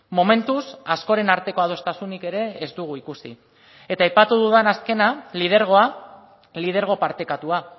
momentuz askoren arteko adostasunik ere ez dugu ikusi eta aipatu dudan azkena lidergoa lidergo partekatua